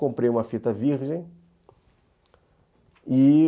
Comprei uma fita virgem.